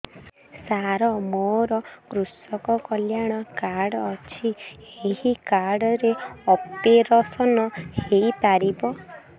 ସାର ମୋର କୃଷକ କଲ୍ୟାଣ କାର୍ଡ ଅଛି ଏହି କାର୍ଡ ରେ ଅପେରସନ ହେଇପାରିବ